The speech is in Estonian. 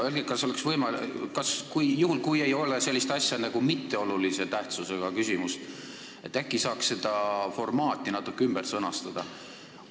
Öelge, kas juhul, kui ei ole olemas sellist asja nagu mitteolulise tähtsusega küsimus, saaks seda formaati äkki natuke ümber sõnastada?